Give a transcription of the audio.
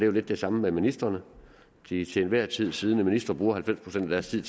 jo lidt det samme med ministrene de til enhver tid siddende ministre bruger halvfems procent af deres tid